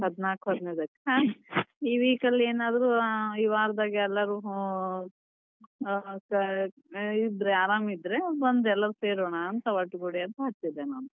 ಹದಿನಾಲ್ಕು ಹದಿನೈದಕ್ ಈ week ಅಲ್ಲಿ ಏನಾದ್ರೂ ಈ ವಾರದಲ್ಲಿ ಎಲ್ಲರೂ ಇದ್ರೆ ಆರಾಮ್ ಇದ್ರೆ ಬಂದ್ ಎಲ್ಲರೂ ಸೇರೋಣ ಅಂತ ಒಟ್ಟ ಗೂಡಿ ಅಂತ ಹಚ್ಚಿದೆ ನಾನ್.